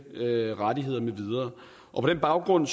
rettigheder med videre på den baggrund